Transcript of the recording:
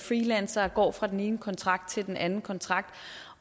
freelancere og går fra den ene kontrakt til den anden kontrakt